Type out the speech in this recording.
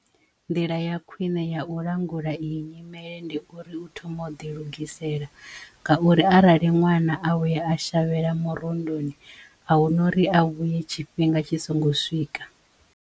Nḓila ya khwine ya u langula i yi nyimele ndi uri u thoma u ḓi lugisela ngauri arali ṅwana a vhuya a shavhela murunduni a huna uri a vhuye tshifhinga tshi songo swika.